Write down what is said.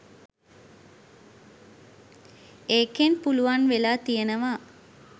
ඒකෙන් පුළුවන් වෙලා තියෙනවා.